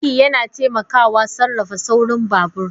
Birki yana taimakawa sarrafa saurin babur.